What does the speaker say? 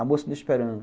A moça está me esperando.